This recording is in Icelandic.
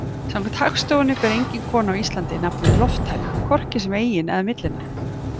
Samkvæmt Hagstofunni ber engin kona á Íslandi nafnið Lofthæna, hvorki sem eigin- eða millinafn.